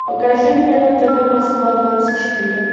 покажи мне на тв москва двадцать четыре